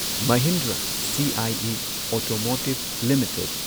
Mahindra CIE Automotive limited